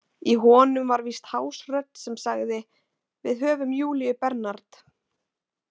Í honum var víst hás rödd sem sagði: Við höfum Júlíu Bernard.